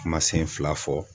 Kumasen fila fɔ